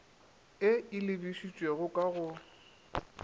e e lebišitšego ka go